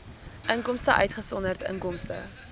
inkomste uitgesonderd inkomste